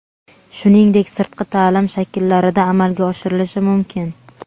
shuningdek sirtqi ta’lim shakllarida amalga oshirilishi mumkin.